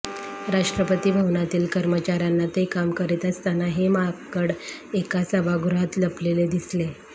राष्ट्रपती भवनातील कर्मचाऱ्यांना ते काम करीत असताना हे माकड एका सभागृहात लपलेले दिसले